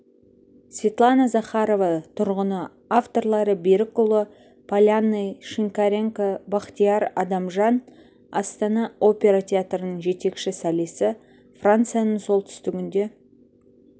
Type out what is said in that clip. светлана захарова тұрғыны авторлары берікұлы полянный шинкаренко бақтияр адамжан астана опера театрының жетекші солисі францияның солтүстігінде